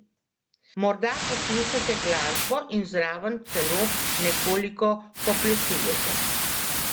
Morda poslušate glasbo in zraven celo nekoliko poplesujete?